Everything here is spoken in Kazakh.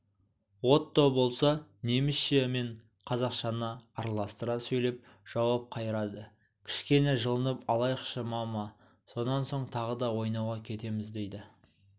отто болса немісше мен қазақшаны араластыра сөйлеп жауап қайырады кішкене жылынып алайықшы мама сонан соң тағы да ойнауға кетеміз дейді